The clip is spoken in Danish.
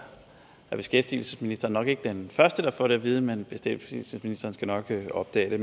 beskæftigelsesministeren nok ikke den første der får det at vide men beskæftigelsesministeren skal nok opdage